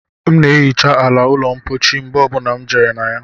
M na ehicha ala ụlọ mpochi mgbe ọ bụla m jere na ya